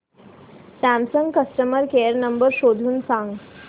Samsung customer care number शोधून सांग